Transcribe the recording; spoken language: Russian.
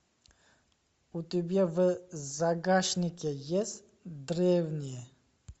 у тебя в загашнике есть древние